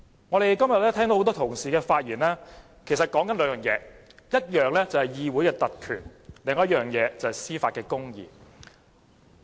我今天聽了很多同事的發言，主要關乎兩件事，一件事是議會特權，另一件事是司法公義。